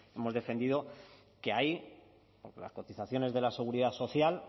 hemos defendido que ahí las cotizaciones de la seguridad social